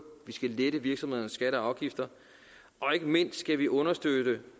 vi skal lette virksomhedernes skatter og afgifter og ikke mindst skal vi understøtte